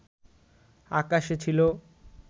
আকাশে ছিল